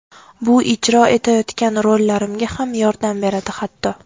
Bu ijro etayotgan rollarimga ham yordam beradi hatto.